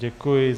Děkuji.